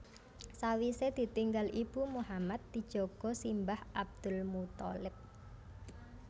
Sawisé ditinggal ibu Muhammad dijaga simbah Abdul Muththalib